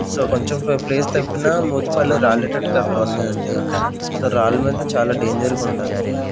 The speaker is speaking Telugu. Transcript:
సొ కొంచెం పొయ్ ప్లేస్ తప్పినా మూతి పళ్ళు రాలేటట్టుగా అక్కడ ఉన్నాయండి సర్ రాళ్ళు మీద చాలా డేంజర్గుండండి .